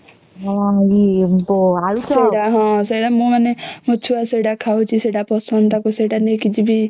ଛୁଆ କୁ ପସନ୍ଦ ତାକୁ ସେଇଟା ନେଇକି ଯିବି